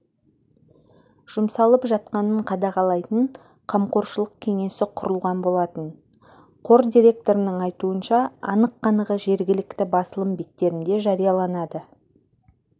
жұмсалып жатқанын қадағалайтын қамқоршылық кеңесі құрылған болатын қор директорының айтуынша анық-қанығы жергілікті басылым беттерінде жарияланады